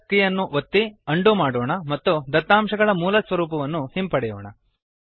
CTRLZ ಕೀಲಿಯನ್ನು ಒತ್ತಿ undo ಮಾಡೊಣ ಮತ್ತು ದತ್ತಾಂಶಗಳ ಮೂಲಸ್ವರೂಪವನ್ನು ಹಿಂಪಡೆಯೋಣ